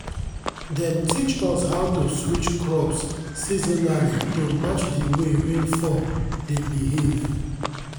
dem teach us how to switch crops seasonally to match di way rainfall dey behave.